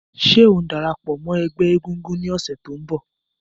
Ṣé ò ń dara pọ̀ mọ́ ẹgbẹ́ egungun ní ọ̀sẹ̀ tó ń bọ̀?